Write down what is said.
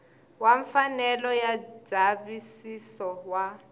wa mfanelo ya ndzavisiso wa